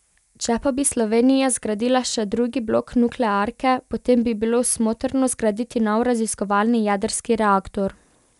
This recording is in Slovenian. Če pa bi Slovenija zgradila še drugi blok nuklearke, potem bi bilo smotrno zgraditi nov raziskovalni jedrski reaktor.